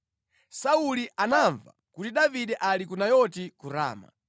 Sauli anamva kuti, “Davide ali ku Nayoti ku Rama.”